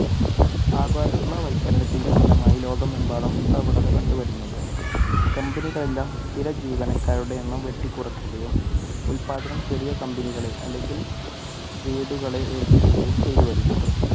ആഗോള വത്ക്കരണത്തിന്റെ ഫലമായി ലോകമെമ്പാടും ഈ പ്രവണത കണ്ടുവരുന്നുണ്ട്. കമ്പനികളെല്ലാം സ്ഥിരജീവനക്കാരുടെ എണ്ണം വെട്ടിക്കുറക്കുകയും ഉൽപാദനം ചെറിയ company കളെ അല്ലെങ്കിൽ വീടുകളെ ഏൽപ്പിക്കുകയും ചെയ്തു വരികയാണ്.